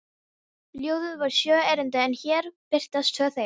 Ljóðið var sjö erindi en hér birtast tvö þeirra: